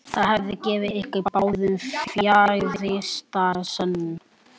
Það hefði gefið ykkur báðum fjarvistarsönnun.